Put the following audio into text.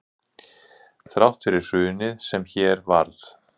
Þrátt fyrir hrunið sem hér varð